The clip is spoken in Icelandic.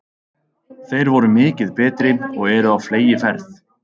Þeir voru mikið betri og eru á fleygiferð.